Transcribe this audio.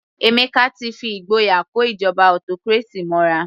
Emeka ti fi ìgboyà kó ìjọba autocracy mọ́ra.